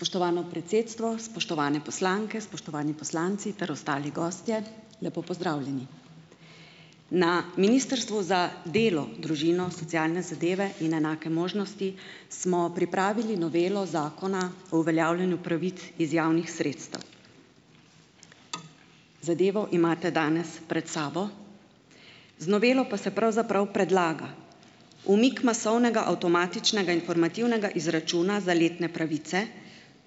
Spoštovano predsedstvo, spoštovane poslanke, spoštovani poslanci ter ostali gostje, lepo pozdravljeni. Na Ministrstvu za delo, družino, socialne zadeve in enake možnosti smo pripravili novelo Zakona o uveljavljanju pravic iz javnih sredstev. Zadevo imate danes pred sabo. Z novelo pa se pravzaprav predlaga umik masovnega avtomatičnega informativnega izračuna za letne pravice,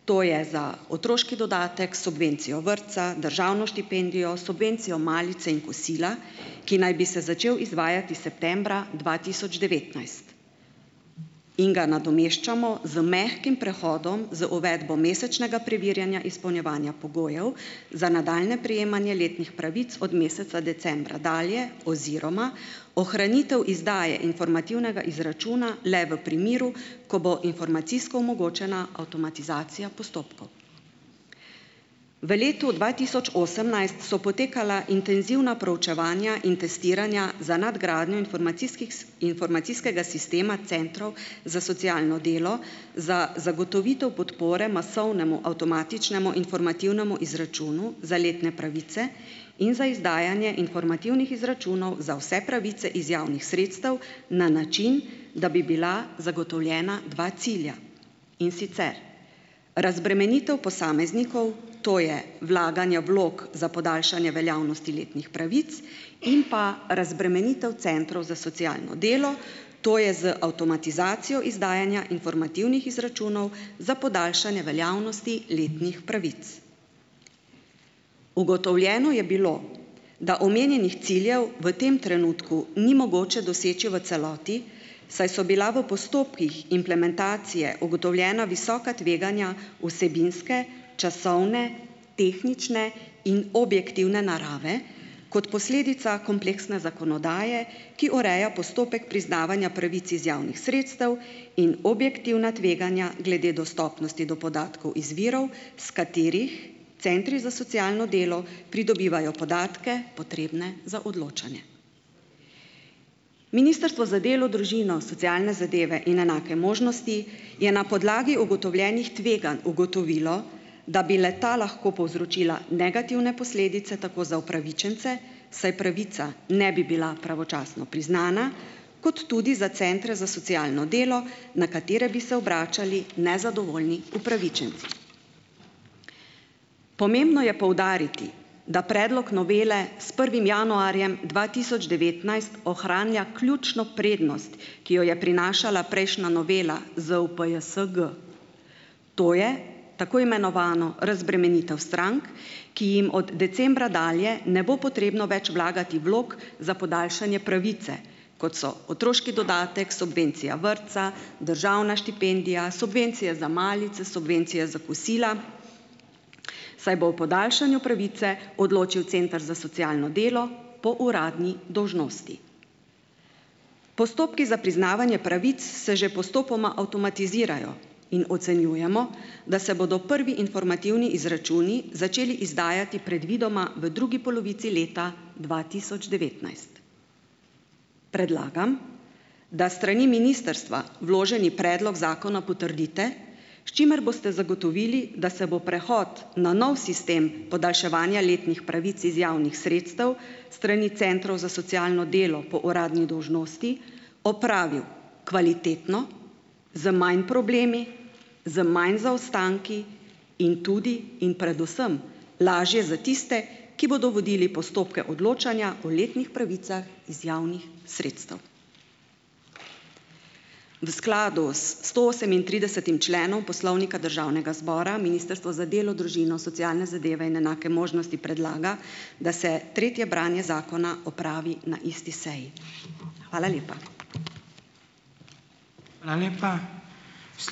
to je za otroški dodatek, subvencijo vrtca, državno štipendijo, subvencijo malice in kosila, ki naj bi se začel izvajati septembra dva tisoč devetnajst, in ga nadomeščamo z mehkim prehodom z uvedbo mesečnega preverjanja izpolnjevanja pogojev za nadaljnje prejemanje letnih pravic od meseca decembra dalje oziroma ohranitev izdaje informativnega izračuna le v primeru, ko bo informacijsko omogočena avtomatizacija postopkov. V letu dva tisoč osemnajst so potekala intenzivna proučevanja in testiranja za nadgradnjo informacijskih informacijskega sistema centrov za socialno delo za zagotovitev podpore masovnemu, avtomatičnemu, informativnemu izračunu za letne pravice in za izdajanje informativnih izračunov za vse pravice iz javnih sredstev na način, da bi bila zagotovljena dva cilja. In sicer, razbremenitev posameznikov, to je vlaganje vlog za podaljšanje veljavnosti letnih pravic in pa razbremenitev centrov za socialno delo, to je z avtomatizacijo izdajanja informativnih izračunov za podaljšanje veljavnosti letnih pravic. Ugotovljeno je bilo, da omenjenih ciljev v tem trenutku ni mogoče doseči v celoti, saj so bila v postopkih implementacije ugotovljena visoka tveganja vsebinske, časovne, tehnične in objektivne narave kot posledica kompleksne zakonodaje, ki ureja postopek priznavanja pravic iz javnih sredstev, in objektivna tveganja glede dostopnosti do podatkov iz virov, iz katerih centri za socialno delo pridobivajo podatke, potrebne za odločanje. Ministrstvo za delo, družino, socialne zadeve in enake možnosti je na podlagi ugotovljenih tveganj ugotovilo, da bi le tako lahko povzročila negativne posledice tako za upravičence, saj pravica ne bi bila pravočasno priznana kot tudi za centre za socialno delo, na katere bi se obračali nezadovoljni upravičenci. Pomembno je poudariti, da predlog novele s prvim januarjem dva tisoč devetnajst ohranja ključno prednost, ki jo je prinašala prejšnja novela ZUPJSG, to je tako imenovano razbremenitev strank, ki jim od decembra dalje ne bo potrebno več vlagati vlog za podaljšanje pravice, kot so otroški dodatek, subvencija vrtca, državna štipendija, subvencije za malice, subvencije za kosila, saj bo o podaljšanju pravice odločil center za socialno delo po uradni dolžnosti. Postopki za priznavanje pravic se že postopoma avtomatizirajo in ocenjujemo, da se bodo prvi informativni izračuni začeli izdajati predvidoma v drugi polovici leta dva tisoč devetnajst. Predlagam, da s strani ministrstva vloženi predlog zakona potrdite, s čimer boste zagotovili, da se bo prehod na nov sistem podaljševanja letnih pravic iz javnih sredstev s strani centrov za socialno delo po uradni dolžnosti opravil kvalitetno z manj problemi, z manj zaostanki in tudi in predvsem lažje za tiste, ki bodo vodili postopke odločanja o letnih pravicah iz javnih sredstev. V skladu s sto osemintridesetim členom Poslovnika Državnega zbora Ministrstvo za delo, družino, socialne zadeve in enake možnosti predlaga, da se tretje branje zakona opravi na isti seji. Hvala lepa.